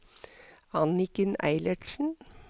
Anniken Eilertsen